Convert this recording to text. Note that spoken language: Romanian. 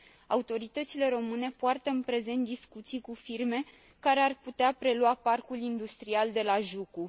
Autoritățile române poartă în prezent discuții cu firme care ar putea prelua parcul industrial de la Jucu.